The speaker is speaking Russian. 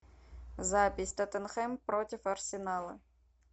запись тоттенхэм против арсенала